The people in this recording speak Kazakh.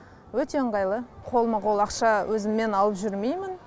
өте ыңғайлы қолма қол ақша өзіммен алып жүрмеймін